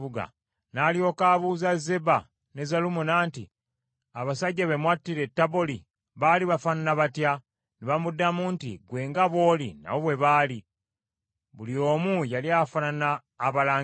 N’alyoka abuuza Zeba ne Zalumunna nti, “Abasajja be mwattira e Taboli baali bafaanana batya?” Ne bamuddamu nti, “ggwe nga bw’oli nabo bwe baali. Buli omu yali afaanana abalangira.”